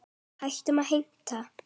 Hættum að heimta!